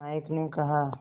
नायक ने कहा